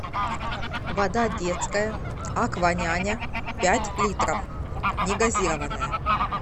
вода детская акваняня пять литров негазированная